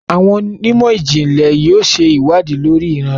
Awọn onimọ-jinlẹ yóò ṣe iwadii lori iran rẹ